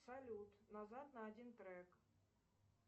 салют назад на один трек